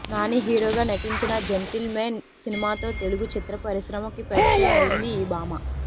నాని హీరోగా నటించిన gentleman సినిమాతో తెలుగు చిత్రపరిశ్రమకి పరిచయం అయింది ఈ భామ